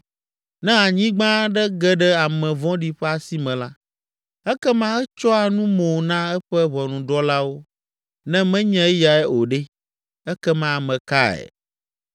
Ne anyigba aɖe ge ɖe ame vɔ̃ɖi ƒe asi me la, ekema etsyɔa nu mo na eƒe ʋɔnudrɔ̃lawo. Ne menye eyae o ɖe, ekema ame kae?